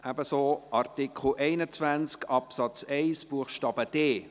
Ebenso bei Artikel 21 Absatz 1 Buchstabe d: